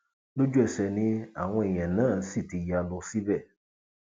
lójúẹsẹ ni àwọn èèyàn náà sì ti ya lọ síbẹ